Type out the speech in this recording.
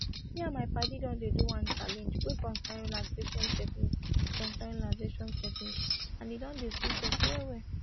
me and my padi don dey do one challenge wey concern relaxation technique concern relaxation technique and e don dey sweet us well well